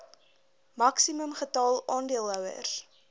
maksimum getal aandeelhouers